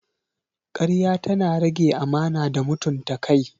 Karya tana rage amana da mutunta kai.